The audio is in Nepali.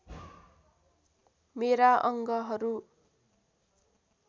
मेरा अङ्गहरू